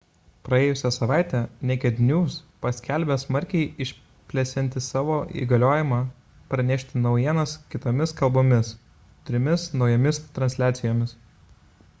praėjusią savaitę naked news paskelbė smarkiai išplėsianti savo įgaliojimą pranešti naujienas kitomis kalbomis trimis naujomis transliacijomis